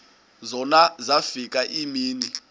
zona zafika iimini